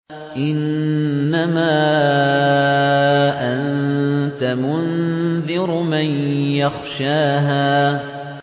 إِنَّمَا أَنتَ مُنذِرُ مَن يَخْشَاهَا